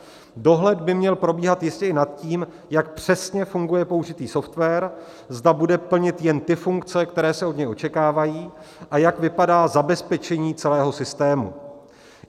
Dohled by měl probíhat jistě i nad tím, jak přesně funguje použitý software, zda bude plnit jen ty funkce, které se od něj očekávají, a jak vypadá zabezpečení celého sytému.